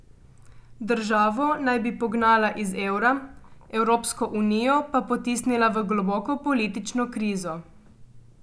Državo naj bi pognala iz evra, Evropsko unijo pa potisnila v globoko politično krizo.